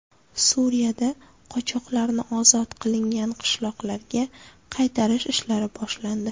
Suriyada qochoqlarni ozod qilingan qishloqlarga qaytarish ishlari boshlandi.